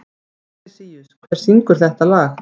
Fabrisíus, hver syngur þetta lag?